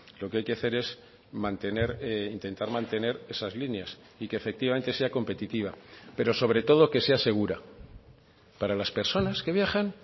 lo que hay que hacer es mantener intentar mantener esas líneas y que efectivamente sea competitiva pero sobre todo que sea segura para las personas que viajan